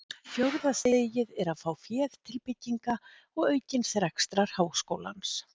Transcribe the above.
Fjórða stigið er að fá féð til bygginga og aukins rekstrar háskólans.